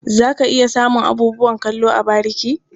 Za ka iya samun abubuwan kallo a bariki.